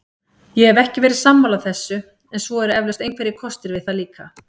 Ég hef ekki verið sammála þessu en svo eru eflaust einhverjir kostir við það líka.